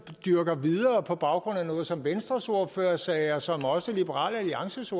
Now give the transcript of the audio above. dyrker videre på baggrund af noget som venstres ordfører sagde og som også liberal alliances